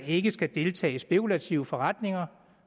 ikke skal deltage i spekulative forretninger